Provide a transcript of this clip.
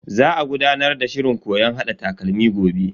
Za a gudanar da shirin koyon hada takalmi gobe.